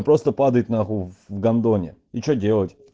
просто падает на хуй в гандоне и что делать